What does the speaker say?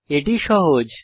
এটি সহজ